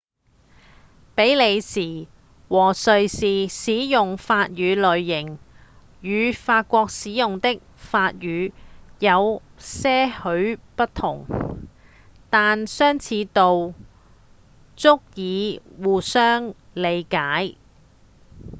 比利時和瑞士使用的法語類型與法國使用的法語有些許不同但相似度足以相互理解